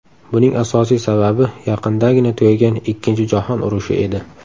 Buning asosiy sababi yaqindagina tugagan Ikkinchi jahon urushi edi.